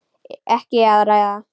Ekki að ræða það.